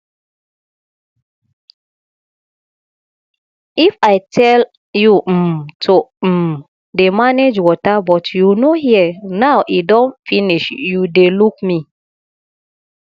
i tell you um to um dey manage water but you no hear now e don finish you dey look me